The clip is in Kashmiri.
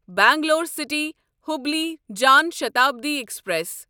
Bangalore city Hubli Jan Shatabdi express